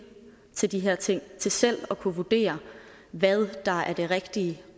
til de her ting til selv at kunne vurdere hvad der er det rigtige